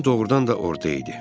Cim doğrudan da orada idi.